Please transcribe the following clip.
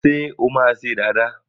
Ṣé o máa ṣe dàda?